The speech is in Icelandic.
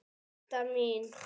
Didda mín.